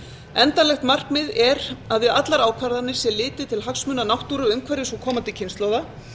endanlegt markmið er að við allar ákvarðanir sé litið til hagsmuna náttúru umhverfis og komandi kynslóða